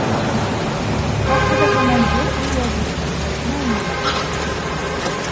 Vaqtida komandir u yo bu topshiriqni anglamagan.